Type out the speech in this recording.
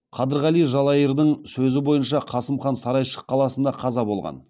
қадырғали жалайырдың сөзі бойынша қасым хан сарайшық қаласында қаза болған